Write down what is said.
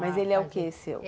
Mas ele é o que seu?